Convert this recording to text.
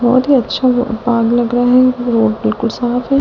बहुत ही अच्छा बाग लग रहा है रोड बिल्कुल साफ है।